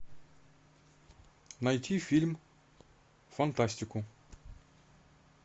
найти фильм фантастику